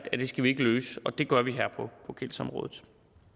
skal løses og det gør vi her på gældsområdet